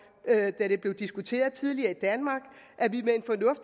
da det blev diskuterede tidligere i danmark at vi